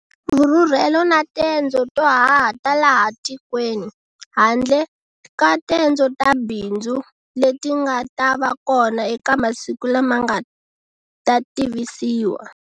Vurhurhelo na tendzo to haha ta laha tikweni, handle ka tendzo ta bindzu, leti nga ta va kona eka masiku lama nga ta tivisiwa.